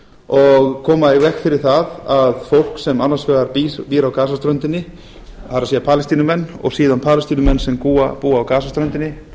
og koma í veg fyrir það að fólk sem annars vegar býr á gasaströndinni það er palestínumenn og síðan